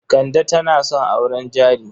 Kande tana son auren jari.